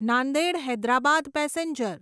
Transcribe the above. Nanded Hyderabad passenger